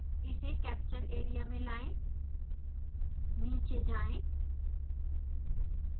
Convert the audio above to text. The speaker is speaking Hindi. इसे कैप्चर एरिया में लाएं नीचे जाएँ